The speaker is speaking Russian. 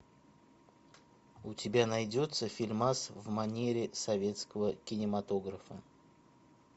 у тебя найдется фильмас в манере советского кинематографа